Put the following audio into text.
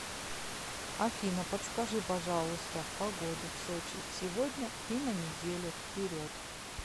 афина подскажи пожалуйста погоду в сочи сегодня и на неделю вперед